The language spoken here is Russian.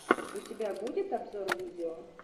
у тебя будет обзор видео